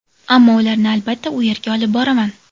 Ammo ularni, albatta, u yerga olib boraman”.